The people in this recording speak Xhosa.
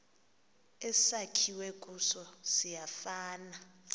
esakhiwe kuso siyafana